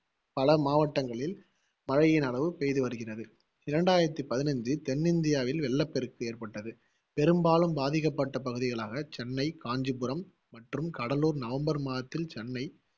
பல மாவட்டங்களில் மழையின் அளவு பெய்து வருகுறது. இரண்டாயிரத்தி பதினைஞ்சு தென்னிந்தியாவில் வெள்ளப்பெருக்கு ஏற்பட்டது பெரும்பாலும் பாதிக்கப்பட்ட பகுதிகளாக சென்னை, காஞ்சிபுரம் மற்றும் கடலூர் நவம்பர் மாதத்தில், சென்னை